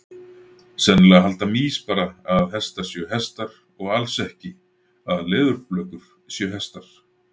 Sennilega halda mýs bara að hestar séu hestar og alls ekki að leðurblökur séu hestar.